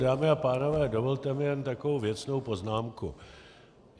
Dámy a pánové, dovolte mi jen takovou věcnou poznámku.